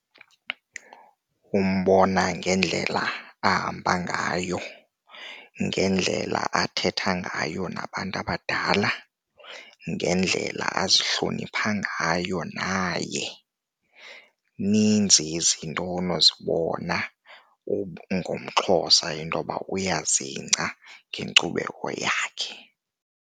Umbona ngendlela ahamba ngayo, ngendlela athetha ngayo nabantu abadala, ngendlela azihloniphayo ngayo naye. Ninzi izintoni onozibona ngomXhosa intoba uyazingca ngenkcubeko yakhe.